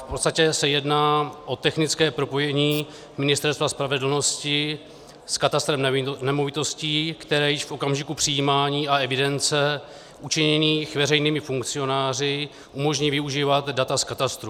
V podstatě se jedná o technické propojení Ministerstva spravedlnosti s katastrem nemovitostí, které již v okamžiku přijímání a evidence učiněných veřejnými funkcionáři umožní využívat data z katastrů.